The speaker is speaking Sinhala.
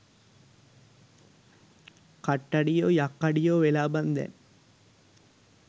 කට්ටඩියෝ යක්කඩියෝ වෙලා බන් දැන්